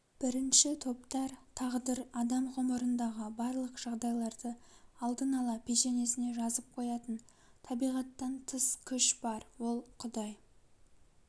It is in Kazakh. бірінші топтар тағдыр адам ғұмырындағы барлық жағдайларды алдын ала пешенесіне жазып қоятын табиғаттан тыс күш бар ол құдай